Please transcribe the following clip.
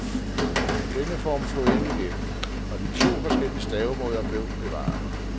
Denne form slog ikke igennem, og de to forskellige stavemåder blev bevaret.